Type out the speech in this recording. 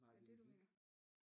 Nej det vi fik